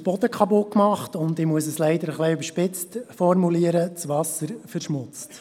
Der Boden wird kaputtgemacht und – ich muss es leider etwas überspitzt formulieren – das Wasser verschmutzt.